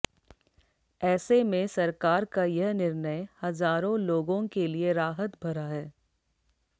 ऐसे में सरकार का यह निर्णय हजारों लोगों के लिए राहत भरा है